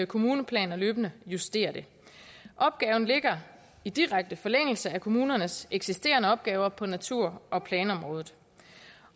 kommuneplaner løbende justere det opgaven ligger i direkte forlængelse af kommunernes eksisterende opgaver på natur og planområdet